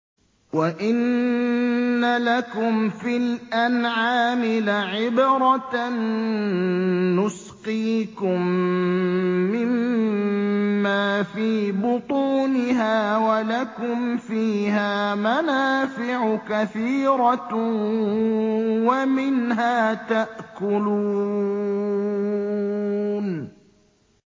وَإِنَّ لَكُمْ فِي الْأَنْعَامِ لَعِبْرَةً ۖ نُّسْقِيكُم مِّمَّا فِي بُطُونِهَا وَلَكُمْ فِيهَا مَنَافِعُ كَثِيرَةٌ وَمِنْهَا تَأْكُلُونَ